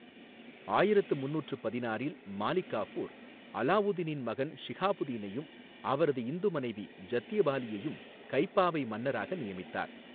ஆயிரத்து முந்நூற்று பதினாறில் மாலிக் காஃபூர் அலாவுதீனின் மகன் ஷிஹாபுதீனையும் அவரது இந்து மனைவி ஜத்தியபாலியையும் கைப்பாவை மன்னராக நியமித்தார்.